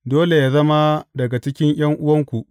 Dole yă zama daga cikin ’yan’uwanku.